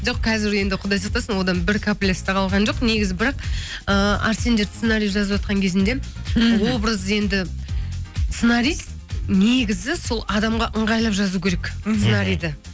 жоқ қазір енді құдай сақтасын одан бір каплиясы да қалған жоқ негізі бірақ ыыы арсендер сценария жазватқан кезінде мхм образ енді сценарист негізі сол адамға ыңғайлап жазу керек мхм сценариді